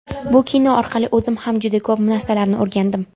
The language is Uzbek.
Bu kino orqali o‘zim ham juda ko‘p narsalarni o‘rgandim.